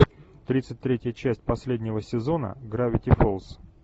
тридцать третья часть последнего сезона гравити фолз